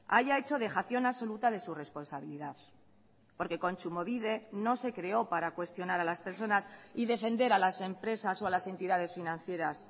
haya hecho dejación absoluta de su responsabilidad porque kontsumobide no se creó para cuestionar a las personas y defender a las empresas o a las entidades financieras